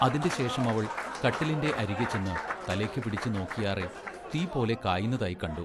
അതിന്റെ ശേഷമവൾ കട്ടിലിന്റെ അരികെ ചെന്ന് തലെക്ക് പിടിച്ച് നോക്കിയാറെ തീ പോലെ കായുന്നതായിക്കണ്ടു.